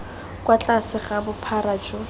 kwa tlase ga bophara jo